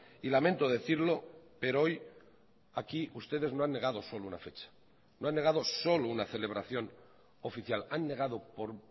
y lamento decirlo pero hoy aquí ustedes no han negado solo una fecha no han negado solo una celebración oficial han negado por